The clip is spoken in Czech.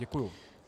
Děkuji.